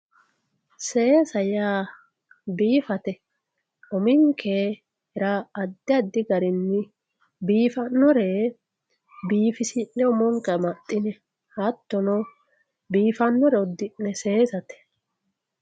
seesa yaa biifate uminkera addi addi garinni biifannore biifisinne umonke amaxxine hattono biifannore uddi'ne saasate.